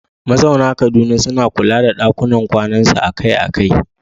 Mazauna Kaduna suna kula da ɗakunan kwanansu akai-akai